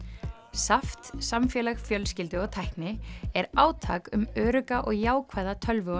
SAFT samfélag fjölskyldu og tækni er átak um örugga og jákvæða tölvu og